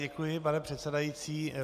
Děkuji, pane předsedající.